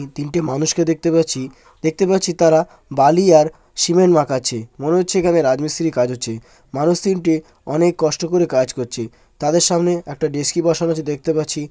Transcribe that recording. এই তিনটে মানুষকে দেখতে পাচ্ছি। দেখতে পাচ্ছি তারা বালি আর সিমেন্ট মাখাচ্ছে। মনে হচ্ছে এখানে রাজমিস্ত্রি কাজ হচ্ছে। মানুষ তিনটে অনেক কষ্ট করে কাজ করছে। তাদের সামনে একটা ডেচকি বসানো আছে দেখতে পাচ্ছি।